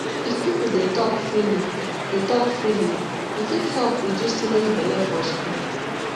if people dey talk freely dey talk freely e fit help reduce teenage belle for school